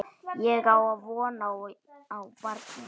Ég á von á barni.